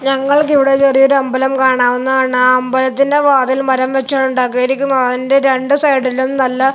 ഞങ്ങൾക്ക് ഇവിടെ ചെറിയൊരു അമ്പലം കാണാവുന്നതാണ് ആ അമ്പലത്തിന്റെ വാതില് മരം വെച്ചാണ് ഉണ്ടാക്കിയിരിക്കുന്നത് അതിന്റെ രണ്ട് സൈഡിലും നല്ല--